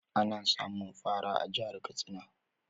Ana samun fara a jihar Katsina